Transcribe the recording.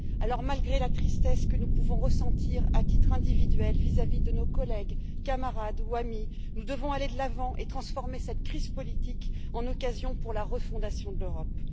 Alors, malgré la tristesse que nous pouvons ressentir à titre individuel vis à vis de nos collègues, camarades ou amis, nous devons aller de l'avant et transformer cette crise politique en occasion pour la refondation de l'Europe.